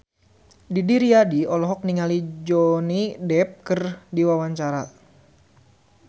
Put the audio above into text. Didi Riyadi olohok ningali Johnny Depp keur diwawancara